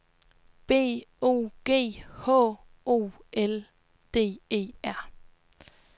B O G H O L D E R